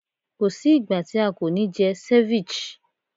Ko sí ìgbà tí a kò ní jẹ ceviche.